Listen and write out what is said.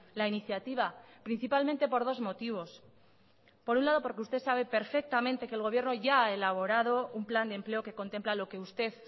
la iniciativa principalmente por dos motivos por un lado porque usted sabe perfectamente que el gobierno ya ha elaborado un plan de empleo que contempla lo que usted